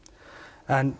en